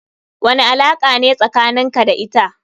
Wani alaka ne tsakanin ka da ita.